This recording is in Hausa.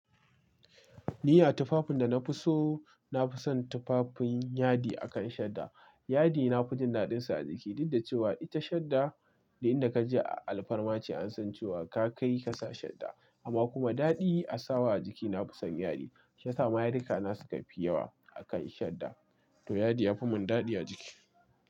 Ni a tufafin da na fi so, na fi son tufafin yadi akan shadda. Yadi na fi jin daɗinsa a jiki duk da cewa ita shadda ne inda ka je a alfarma ce an san cewa ka kai ka sa shadda. Amma kuma daɗi a sawa a jiki na fi son yadi. Shi yasama ma yadikana na suka fi yawa a kan shadda. To yadi ya fi mun daɗi a jiki.